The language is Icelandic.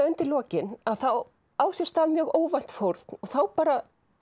undir lokin að þá á sér stað mjög óvænt fórn og þá bara